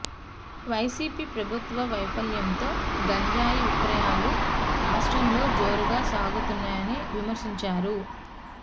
YCP ప్రభుత్వ వైఫల్యంతో గంజాయి విక్రయాలూ రాష్ట్రంలో జోరుగా సాగుతున్నాయని విమర్శించారు